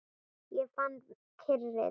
Ég fann kyrrð.